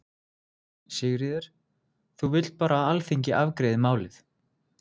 Sigríður: Þú vilt bara að Alþingi afgreiði málið?